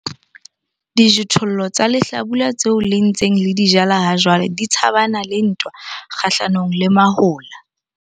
Dijothollo tsa lehlabula tseo le ntseng le di jala hajwale di tshabana le ntwa kgahlanong le mahola.